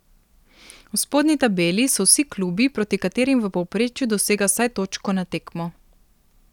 V spodnji tabeli so vsi klubi, proti katerim v povprečju dosega vsaj točko na tekmo.